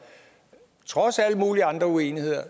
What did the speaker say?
trods alle mulige andre uenigheder